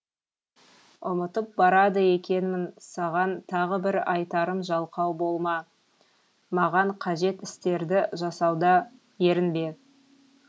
ұмытып барады екенмін саған тағы бір айтарым жалқау болма маған қажет істерді жасауда ерінбе